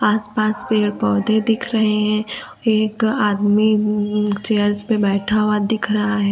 आस पास पेड़ पौधे दिख रहे हैं एक आदमी चेयर्स पे बैठा हुआ दिख रहा है।